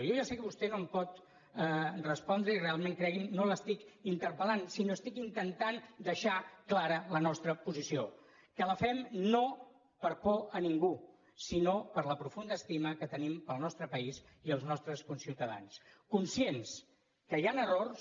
jo ja sé que vostè no em pot respondre i realment cregui’m no l’estic interpel·lant sinó que estic intentant deixar clara la nostra posició que la fem no per por de ningú sinó per la profunda estima que tenim pel nostre país i els nostres conciutadans conscients que hi han errors